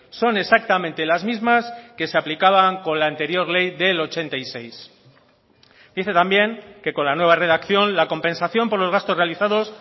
son exactamente las mismas que se aplicaban con la anterior ley del ochenta y seis dice también que con la nueva redacción la compensación por los gastos realizados